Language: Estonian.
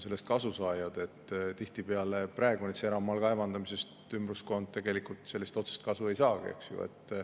Tihtipeale praegu eramaal kaevandamisest ümbruskond tegelikult otsest kasu ei saagi.